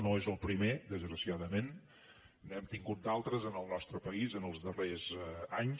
no és el primer desgraciadament n’hem tingut d’altres en el nostre país en els darrers anys